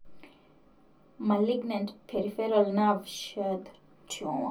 Malignant peripheral nerve sheath tumor.